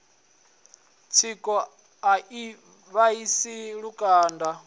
tsiko a i vhaisi lukanda